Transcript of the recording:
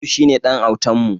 Aliyu shine ɗan autan mu.